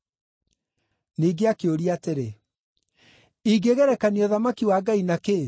Ningĩ akĩũria atĩrĩ, “Ingĩgerekania ũthamaki wa Ngai na kĩĩ?